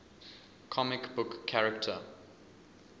comic book character